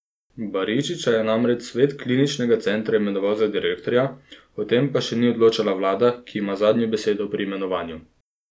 Baričiča je namreč svet kliničnega centra imenoval za direktorja, o tem pa še ni odločala vlada, ki ima zadnjo besedo pri imenovanju.